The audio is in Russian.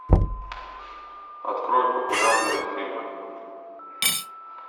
открой популярные фильмы